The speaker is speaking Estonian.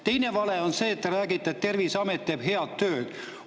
Teine vale on see, et te räägite, et Terviseamet teeb head tööd.